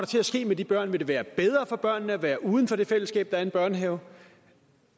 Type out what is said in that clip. til at ske med de børn vil det være bedre for børnene at være uden for det fællesskab er en børnehave